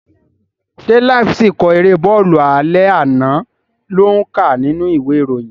Ṣé láíf síkọ̀ erée bọ́ọ̀lù alẹ́ àná lò ń kà nínú ìwé ìròyìn?